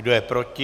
Kdo je proti?